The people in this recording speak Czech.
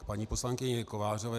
K paní poslankyni Kovářové.